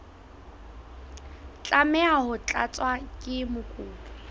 tlameha ho tlatswa ke mokopi